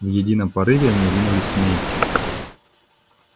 в едином порыве они ринулись к ней